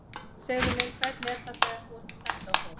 Segðu mér, hvernig er það þegar þú ert að senda á fólk.